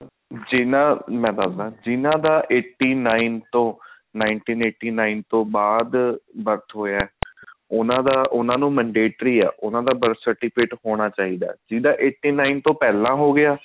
ਜਿਹਨਾ ਦਾ ਮੈਂ ਦੱਸਦਾ ਜਿਹਨਾ ਦਾ eighty nine ਤੋਂ nineteen eighty nine ਤੋਂ ਬਾਅਦ birth ਹੋਇਆ ਉਹਨਾ ਦਾ ਉਹਨਾ ਨੂੰ mandatory ਹੈ ਉਹਨਾ ਦਾ birth certificate ਹੋਣਾ ਚਾਹੀਦਾ ਜਿਹਨਾ ਦਾ eighty nine ਤੋਂ ਪਹਿਲਾਂ ਹੋਗਿਆ